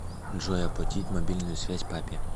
джой оплатить мобильную связь папе